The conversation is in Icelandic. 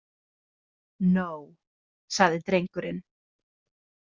No, sagði drengurinn.